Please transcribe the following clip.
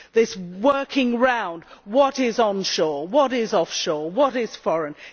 This working round what is on shore, what is offshore, what is foreign?